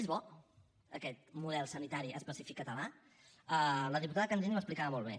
és bo aquest model sanitari específic català la diputada candini ho explicava molt bé